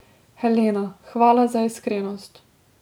Helena, hvala za iskrenost.